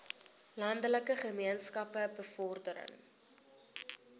landelike gemeenskappe bevordering